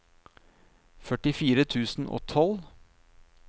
førtifire tusen og tolv